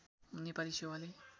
नेपाली सेवाले